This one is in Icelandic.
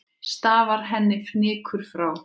Stafar henni fnykur frá.